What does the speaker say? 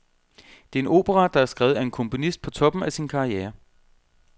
Det er en opera, der er skrevet af en komponist på toppen af sin karriere.